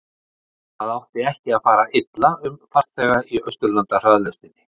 Það átti ekki að fara illa um farþega í Austurlandahraðlestinni.